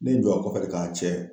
Ne n jɔ a kɔfɛ de k'a cɛ